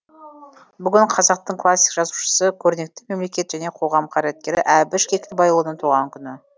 бүгін қазақтың классик жазушысы көрнекті мемлекет және қоғам қайраткері әбіш кекілбайұлының туған күні